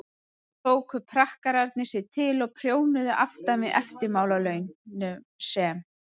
þá tóku prakkararnir sig til og prjónuðu aftan við eftirmálanum sem